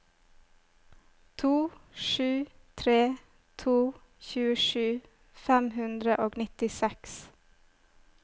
to sju tre to tjuesju fem hundre og nittiseks